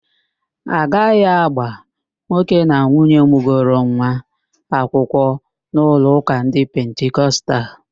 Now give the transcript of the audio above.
A gaghị agba nwoke na nwaanyị mụgoro nwa akwụkwọ n'ụlọụ́kà ndị Pentikostal